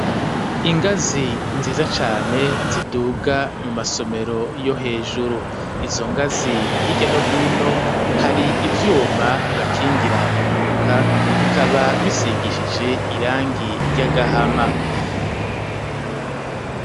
Ingazi nziza cane ziduga mu masomero yo hejuru, izo ngazi hirya no hino hari ivyuma bibakingira impanuka, bikaba bisigishije irangi ry'agahama.